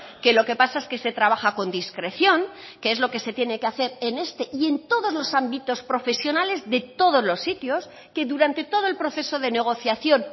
que lo que pasa es que se trabaja con discreción que es lo que se tiene que hacer en este y en todos los ámbitos profesionales de todos los sitios que durante todo el proceso de negociación